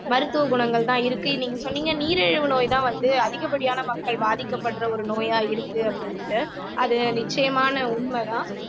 மருத்துவ குணங்கள்தான் இருக்கு நீங்க சொன்னீங்க நீரிழிவு நோய்தான் வந்து அதிகப்படியான மக்கள் பாதிக்கப்படுற ஒரு நோயா இருக்கு அப்படின்னுட்டு அது நிச்சயமான உண்மைதான்